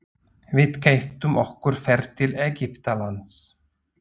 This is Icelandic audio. Við keyptum okkur ferð til Egyptalands.